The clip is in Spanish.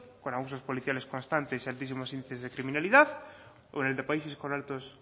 con abusos policiales constantes y altísimos índices de criminalidad o en el de países con altos